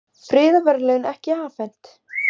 Friðarverðlaun ekki afhent